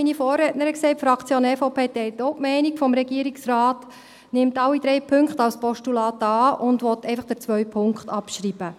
Die Fraktion EVP teilt auch die Meinung des Regierungsrates, nimmt alle drei Punkte als Postulat an und will einfach den zweiten Punkt abschreiben.